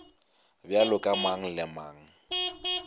bjalo ka mang le mang